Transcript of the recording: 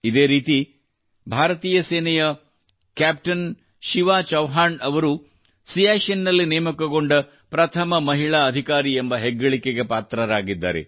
ಇದೇ ರೀತಿ ಭಾರತೀಯ ಸೇನೆಯ ಕ್ಯಾಪ್ಟನ್ ಶಿವಾ ಚೌಹಾಣ್ ಅವರು ಸಿಯಾಚಿನ್ ನಲ್ಲಿ ನೇಮಕಗೊಡ ಪ್ರಥಮ ಮಹಿಳಾ ಅಧಿಕಾರಿ ಎಂಬ ಹೆಗ್ಗಳಿಕೆಗೆ ಪಾತ್ರರಾಗಿದ್ದಾರೆ